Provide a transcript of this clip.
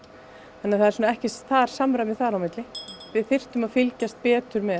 þannig að það er ekki samræmi þar á milli við þyrftum að fylgjast betur með